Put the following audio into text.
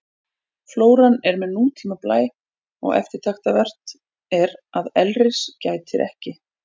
Flóran er með nútíma blæ og eftirtektarvert er að elris gætir ekki.